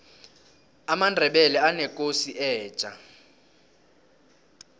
amandebele anekosi etja